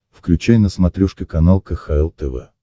включай на смотрешке канал кхл тв